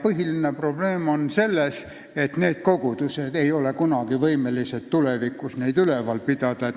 Põhiline probleem on selles, et need kogudused ei ole tulevikus võimelised neid üleval pidama.